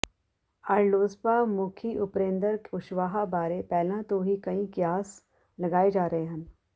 RLSP ਮੁਖੀ ਉਪੇਂਦਰ ਕੁਸ਼ਵਾਹਾ ਬਾਰੇ ਪਹਿਲਾ ਤੋਂ ਹੀ ਕਈ ਕਿਆਸ ਲਗਾਏ ਜਾ ਰਹੇ ਹਨ